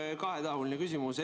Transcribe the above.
Mul on kahetahuline küsimus.